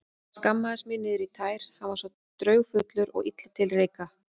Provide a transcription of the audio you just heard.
Skammaðist mín niður í tær, hann var svo draugfullur og illa til reika.